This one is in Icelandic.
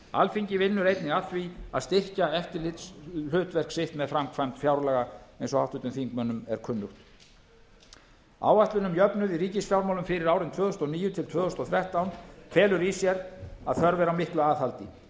alþingi vinnur einnig að því að styrkja eftirlitshlutverk sitt með framkvæmd fjárlaga eins og háttvirtum þingmönnum er kunnugt áætlun um jöfnuð í ríkisfjármálum fyrir árin tvö þúsund og níu til tvö þúsund og þrettán felur í sér að þörf er á miklu aðhaldi